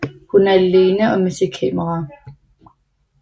Hun er alene og med sit kamera